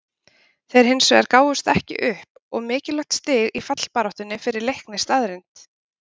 Þeir hinsvegar gáfumst ekki upp og mikilvægt stig í fallbaráttunni fyrir Leikni staðreynd.